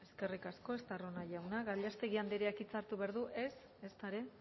comentar más cosas eskerrik asko estarrona jauna gallástegui andreak hitza hartu behar du ez ezta ere